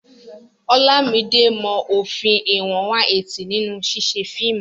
Olamide mọ òfin ìwọ̀n 180 nínú ṣíṣe fíìmù.